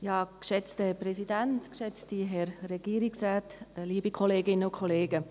Kommissionssprecherin der SiK-Minderheit.